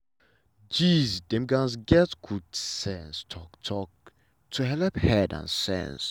uncle and auntie for class gatz join padi gathering wey gat each other to helep sense and mind well.